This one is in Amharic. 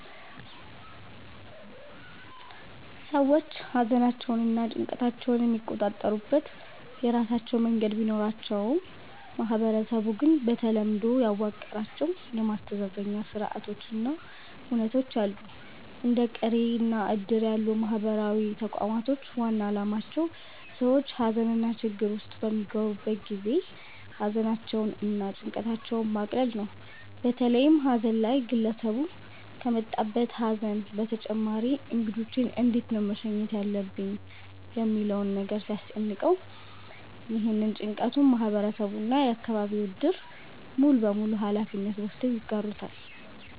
ሰዎች ሃዘናቸውንና ጭንቀታቸውን የሚቆጣጠሩበት የራሳቸው መንገድ ቢኖራቸውም ማህበረሰቡ ግን በተለምዶ ያዋቀራቸው የማስተዛዘኛ ስርአቶች እና ሁነቶች አሉ። እንደ ቅሬ እና እድር ያሉ ማህበራዊ ተቋሞች ዋና አላማቸው ሰዎች ሃዘንና ችግር ውስጥ በሚገቡ ጊዜ ሃዘናቸውን እና ጭንቀታቸውን ማቅለል ነው። በተለይም ሃዘን ላይ ግለሰቡ ከመጣበት ሃዘን በተጨማሪ እንግዶቼን እንዴት ነው መሸኘት ያለብኝ ሚለው ነገር ሲያስጨንቀው፤ ይህንን ጭንቀቱን ማህበረሰቡ እና የአከባቢው እድር ሙሉበሙሉ ሃላፊነት ወስደው ይጋሩታል።